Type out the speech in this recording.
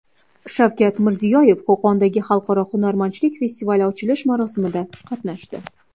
Shavkat Mirziyoyev Qo‘qondagi Xalqaro hunarmandchilik festivali ochilish marosimida qatnashdi.